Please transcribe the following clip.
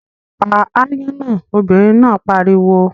Pa aáyán náà, obìnrin náà pariwo!